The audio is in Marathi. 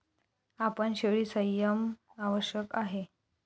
आपण शेळी संयम आवश्यक आहे.